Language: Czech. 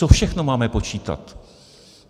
Co všechno máme počítat?